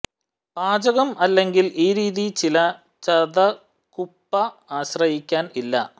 പാചകം അല്ലെങ്കിൽ ഈ രീതി ചില ചതകുപ്പ ആശ്രയിക്കാൻ ഇല്ല